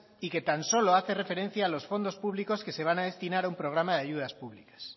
y que tan solo hace referencia a las fondos públicos que se van a destinar a una programa de ayudas públicas